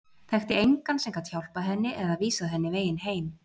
Þekkti engan sem gat hjálpað henni eða vísað henni veginn heim.